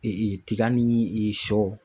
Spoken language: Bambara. tiga ni sɔ